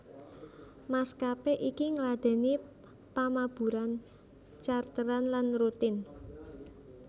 Maskapé iki ngladèni pamaburan charteran lan rutin